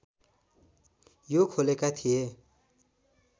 यो खोलेका थिए